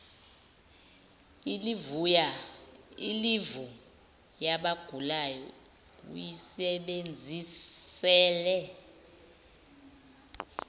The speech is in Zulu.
ilivu yabagulayo uyisebenzisele